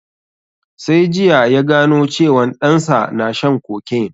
Sai jiya ya gano cewan ɗan sa na shan cocaine